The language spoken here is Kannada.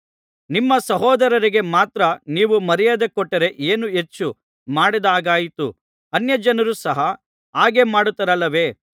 ನಿಮ್ಮ ಸಹೋದರರಿಗೆ ಮಾತ್ರ ನೀವು ಮರ್ಯಾದೆ ಕೊಟ್ಟರೆ ಏನು ಹೆಚ್ಚು ಮಾಡಿದ ಹಾಗಾಯಿತು ಅನ್ಯಜನರು ಸಹ ಹಾಗೆ ಮಾಡುತ್ತಾರಲ್ಲವೇ